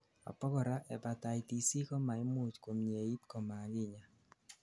abakora, hepatitis C komaimuch komyeit komakinyaa